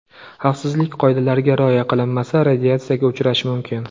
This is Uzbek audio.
Xavfsizlik qoidalariga rioya qilinmasa, radiatsiyaga uchrash mumkin.